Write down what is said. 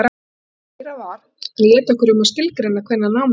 Og það sem meira var, hann lét okkur um að skilgreina hvenær námi lyki.